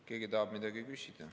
Keegi tahab midagi küsida.